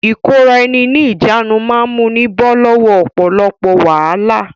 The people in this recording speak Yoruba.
Ìkóra-ẹni-ní-ìjánu máa múni bọ́ lọ́wọ́ ọ̀pọ̀lọpọ̀ wàhálà.